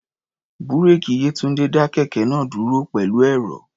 Búréèkì Yétúńdé dá kẹ̀kẹ́ náà dúró pẹ̀lú ẹ̀rọ̀.